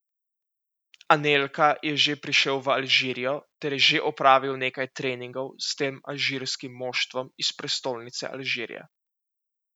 Anelka je že prišel v Alžirijo ter je že opravil nekaj treningov s tem alžirskim moštvom iz prestolnice Alžirije.